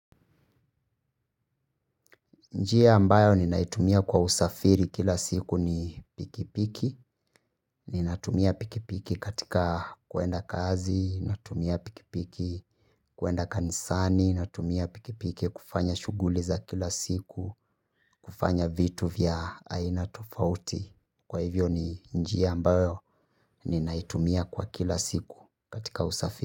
Njia ambayo ninaitumia kwa usafiri kila siku ni pikipiki, ninatumia pikipiki katika kuenda kazi, natumia pikipiki kuenda kanisani, natumia pikipiki kufanya shughuli za kila siku, kufanya vitu vya aina tofauti, kwa hivyo ni njia ambayo ni naitumia kwa kila siku katika usafiri.